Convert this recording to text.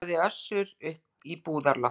kallaði Össur upp í búðarloftið.